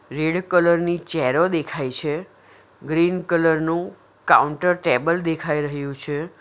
Red colour ની ચેરો દેખાય છે ગ્રીન કલર નું કાઉન્ટર ટેબલ દેખાઈ રહ્યું છે.